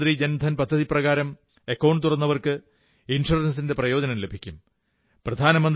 പ്രധാനമന്ത്രി ജൻധൻ പദ്ധതിപ്രകാരം അക്കൌണ്ടു തുറന്നവർക്ക് ഇൻഷ്വറൻസിന്റെ പ്രയോജനവും ലഭിക്കും